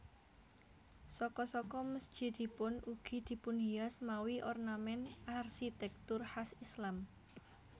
Saka saka mesjidipun ugi dipunhias mawi ornament arsitektur khas Islam